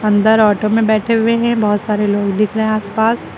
अंदर ऑटो में बैठे हुए हैं बहुत सारे लोग दिख रहे हैं आस पास।